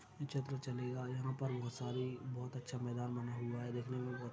चित्र चलेगा यहां पर बहुत सारी बहुत अच्छा मैदान बना हुआ है देखने में बहुत--